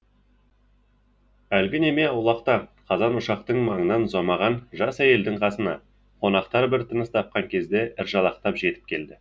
әлгі неме аулақта қазан ошақтың маңынан ұзамаған жас әйелдің қасына қонақтар бір тыныс тапқан кезде ыржалақтап жетіп келді